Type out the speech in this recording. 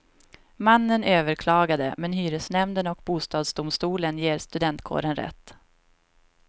Mannen överklagade, men hyresnämnden och bostadsdomstolen ger studentkåren rätt.